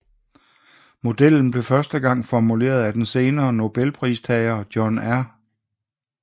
Modellen blev første gang formuleret af den senere Nobelpristager John R